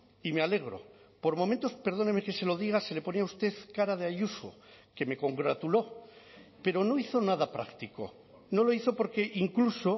y me alegro por momentos perdóneme que se lo diga se le ponía a usted cara de ayuso que me congratuló pero no hizo nada práctico no lo hizo porque incluso